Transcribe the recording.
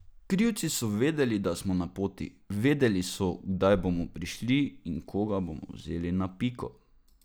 Krivci so vedeli, da smo na poti, vedeli so, kdaj bomo prišli in koga smo vzeli na piko.